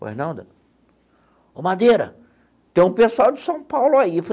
Pô, ô Madeira, tem um pessoal de São Paulo aí.